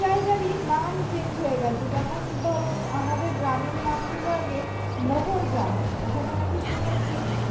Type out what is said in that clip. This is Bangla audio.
জায়গায়ই নাম change হয়ে গেছে। যেমন ধরো আমাদের গ্রামের নাম ছিল আগে মোহর গ্রাম। ওখানে নাকি শুনেছি